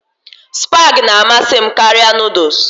Spag na-amasị m karịa Nụ́dúls